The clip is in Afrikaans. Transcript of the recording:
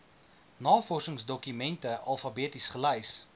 navorsingsdokumente alfabeties gelys